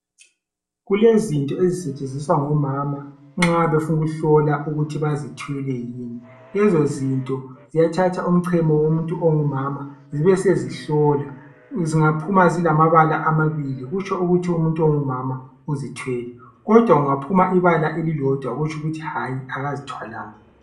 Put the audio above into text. Kulezinto ezisetshenziswa ngomama nxa befuna ukuhlola ukuthi bazithwele yini. Lezo zinto ziyathatha umchemo womuntu ongumama zibesezihlola , zingaphuma zilamabala amabili kutsho ukuthi umuntu ongumama uzithwele kodwa kungaphuma ibala elilodwa kutsho ukuthi hatshi akazithwalanga.